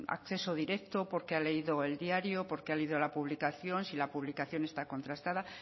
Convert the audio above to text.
acceso directo o porque ha leído el diario o porque ha leído la publicación si la publicación está contrastada